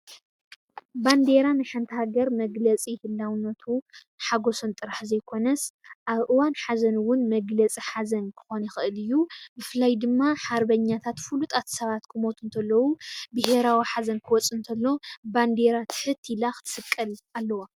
ባንዴራ ንሓንቲ ሃገር መግለፂ ህላውነቱ ሓጎሱን ጥራሕ ዘይኮነስ ኣብ እዋን ሃዘን እውን መግለፂ ሓዘን ክኾን ይኽእል እዩ፡፡ ብፍላይ ድማ ሓርበኛታት ፍሉጣት ሰባት ክመቱ ከለው ብሄራዊ ሓዘን ኽወፅእ እንተሎ ባንዴራ ትሕት ኢላ ክትስቀል ኣለዋ፡፡